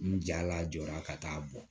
N jala jɔra ka taa bɔ